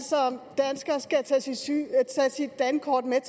er skal tage sit dankort med